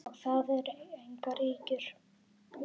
Og það eru engar ýkjur.